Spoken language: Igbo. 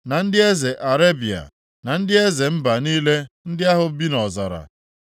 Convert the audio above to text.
Na ndị eze Arebịa, na ndị eze mba niile ndị ahụ bi nʼọzara;